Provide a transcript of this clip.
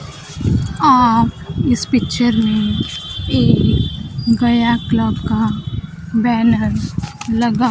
और इस पिक्चर में एक गया क्लब का बैनर लगा--